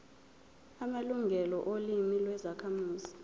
amalungelo olimi lwezakhamuzi